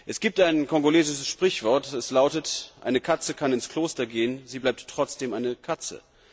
Es gibt ein kongolesisches Sprichwort, das lautet Eine Katze kann ins Kloster gehen, sie bleibt trotzdem eine Katze.